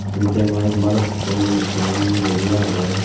ebot deongot balukko manussun boji agon.